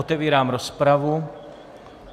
Otevírám rozpravu.